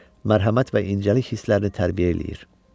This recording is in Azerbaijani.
Mərhəmət və incəlik hisslərini tərbiyə eləyir.